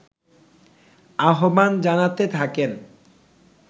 আহ্বান জানাতে থাকেন